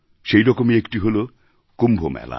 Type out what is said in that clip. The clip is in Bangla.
সেইরকমই একটি হল কুম্ভ মেলা